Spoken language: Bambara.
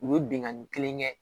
U ye bingani kelen kɛ